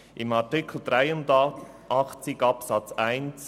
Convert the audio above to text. In Artikel 83 Absatz 1